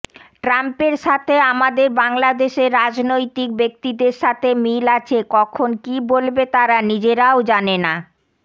ট্রাম্পের সাথে আমাদের বাংলাদেশের রাজনৈতিক ব্যাক্তিদের সাথে মিল আছে কখন কি বলবে তারা নিজেরাও জানেনা